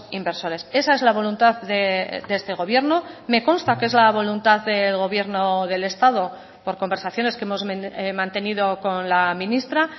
inversores esa es la voluntad de este gobierno me consta que es la voluntad del gobierno del estado por conversaciones que hemos mantenido con la ministra